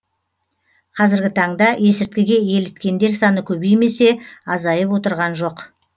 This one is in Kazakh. қазіргі таңда есірткіге еліткендер саны көбеймесе азайып отырған жоқ